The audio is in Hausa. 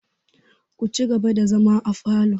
Ku ci gaba da zama afalo!